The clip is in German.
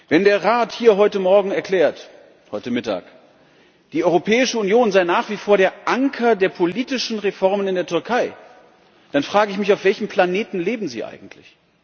Wenn der Rat hier heute Mittag erklärt, die Europäische Union sei nach wie vor der Anker der politischen Reformen in der Türkei, dann frage ich mich Auf welchem Planeten leben Sie eigentlich?